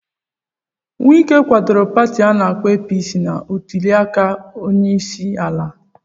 Wike kwadoro Pati ana-akpo APC na ntuli aka onyeisiala.